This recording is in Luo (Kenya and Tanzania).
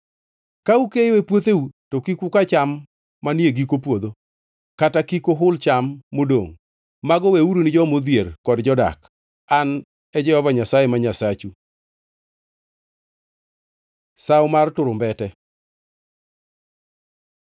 “ ‘Ka ukeyo e puotheu, to kik uka nyaka cham manie giko puodho, kata kik uhul cham modongʼ, mago weuru ni joma odhier kod jodak. An e Jehova Nyasaye ma Nyasachu.’ ” Sawo mar Turumbete